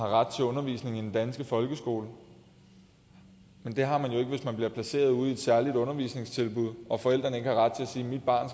ret til undervisning i den danske folkeskole men det har man jo ikke hvis man bliver placeret ude i et særligt undervisningstilbud og forældrene ikke har ret til at sige mit barn